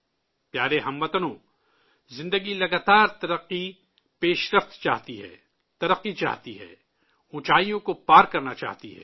پیارے ہم وطنو، زندگی مسلسل پیش رفت چاہتی ہے، ترقی چاہتی ہے، اونچائیوں کو پار کرنا چاہتی ہے